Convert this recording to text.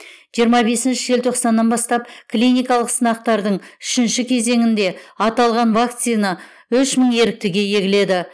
жиырма бесінші желтоқсаннан бастап клиникалық сынақтардың үшінші кезеңінде аталған вакцина үш мың еріктіге егіледі